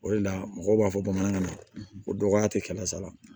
O de la mɔgɔw b'a fɔ bamanankan na ko dɔgɔya tɛ kɛmɛ sara la